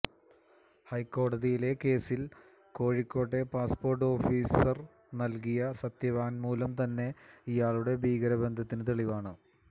ഹൈക്കോടതിയിലെ കേസിൽ കോഴിക്കോട്ടെ പാസ്പോർട്ട് ഓഫീസർ നൽകിയ സത്യവാങ്മൂലം തന്നെ ഇയാളുടെ ഭീകര ബന്ധത്തിന് തെളിവാണ്